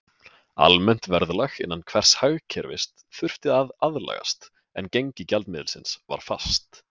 Almennt verðlag innan hvers hagkerfis þurfti að aðlagast, en gengi gjaldmiðilsins var fast.